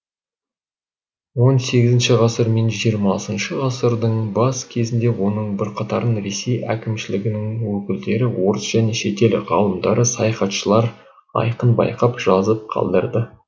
он сегізінші ғасыр мен жиырмасыншы ғасырдың бас кезінде оның бірқатарын ресей әкімшілігінің өкілдері орыс және шетел ғалымдары саяхатшылар айқын байқап жазып қалдырды